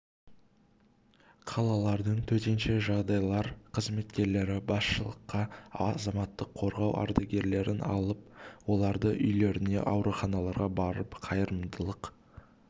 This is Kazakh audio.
мен қалалардың төтенше жағдайлар қызметкерлері басшылыққа азаматтық қорғау ардагерлерін алып оларды үйлеріне ауруханаларға барып қайырымдылық